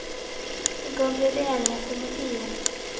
I går ble det enighet om å tie.